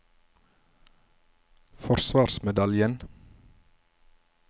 forsvarsmedaljen